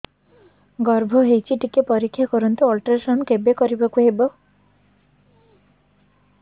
ଗର୍ଭ ହେଇଚି ଟିକେ ପରିକ୍ଷା କରନ୍ତୁ ଅଲଟ୍ରାସାଉଣ୍ଡ କେବେ କରିବାକୁ ହବ